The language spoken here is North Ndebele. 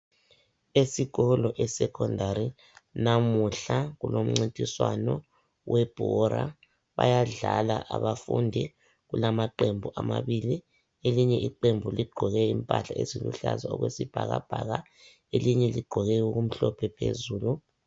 Esikolo esecondary, namuhla kulomncintiswano webhora .Bayadlala abafundi ,kulamaqembu amabili .Elinye iqembu ligqoke impahla eziluhlaza okwesibhakabhaka, elinye ligqoke okumhlophe phezulu.